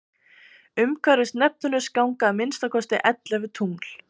umhverfis neptúnus ganga að minnsta kosti ellefu tungl